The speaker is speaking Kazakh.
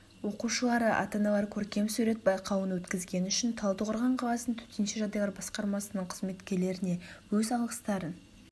оқушылары ата-аналар көркем сурет байқауын өткізгені үшін талдықорған қаласының төтенше жағдайлар басқармасының қызметкерлеріне өз алғыстарын